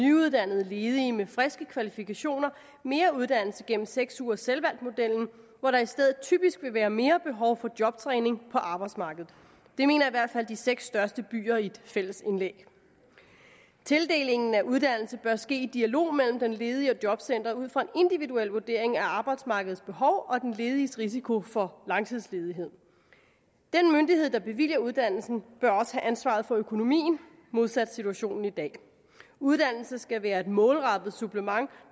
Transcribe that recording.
nyuddannede ledige med friske kvalifikationer mere uddannelse gennem seks ugers selvvalgt modellen hvor der i stedet typisk ville være mere behov for jobtræning på arbejdsmarkedet det mener i hvert fald de seks største byer i et fælles indlæg tildelingen af uddannelse bør ske i dialog mellem den ledige og jobcenteret ud fra en individuel vurdering af arbejdsmarkedets behov og den lediges risiko for langtidsledighed den myndighed der bevilger uddannelsen bør også have ansvaret for økonomien modsat situationen i dag uddannelse skal være et målrettet supplement